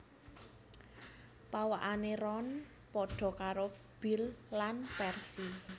Pawakané Ron padha karo Bill lan Percy